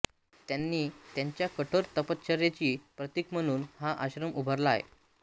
त्यांनी त्यांच्या कठोर तपश्चर्येचे प्रतीक म्हणून हा आश्रम उभारला आहे